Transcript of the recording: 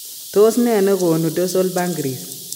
Tos nee negonu dorsal pancrease ?